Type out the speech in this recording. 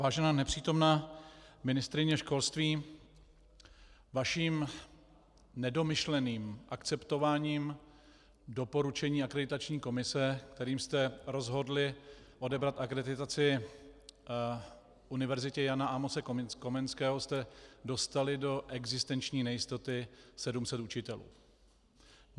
Vážená nepřítomná ministryně školství, vaším nedomyšleným akceptováním doporučení akreditační komise, kterým jste rozhodli odebrat akreditaci Univerzitě Jana Amose Komenského, jste dostali do existenční nejistoty 700 učitelů.